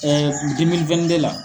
la.